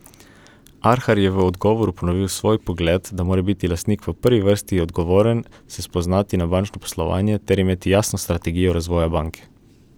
Arhar je v odgovoru ponovil svoj pogled, da mora biti lastnik v prvi vrsti odgovoren, se spoznati na bančno poslovanje ter imeti jasno strategijo razvoja banke.